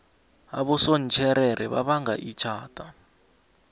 abosontjherere babanga ithada